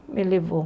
Ele levou.